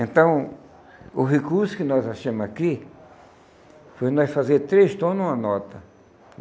Então, o recurso que nós achamos aqui foi nós fazer três tom numa nota.